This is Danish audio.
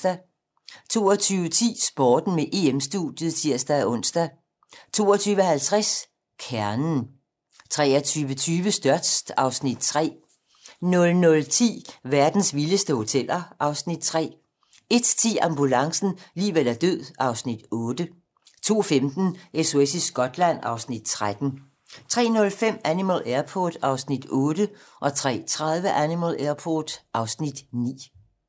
22:10: Sporten med EM-studiet (tir-ons) 22:50: Kernen 23:20: Størst (Afs. 3) 00:10: Verdens vildeste hoteller (Afs. 3) 01:10: Ambulancen - liv eller død (Afs. 8) 02:15: SOS i Skotland (Afs. 13) 03:05: Animal Airport (Afs. 8) 03:30: Animal Airport (Afs. 9)